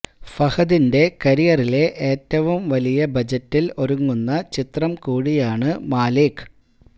ഫഹദിന്റെ കരിയറിലെ ഏറ്റവും വലിയ ബജറ്റിൽ ഒരുങ്ങുന്ന ചിത്രം കൂടിയാണ് മാലിക്